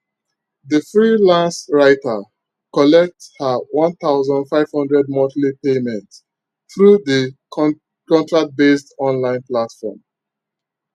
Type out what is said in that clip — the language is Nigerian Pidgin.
the freelance writer collect her one thousand five hundred monthly payment through the con contract based online platform